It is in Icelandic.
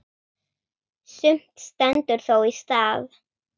Sumt stendur þó í stað.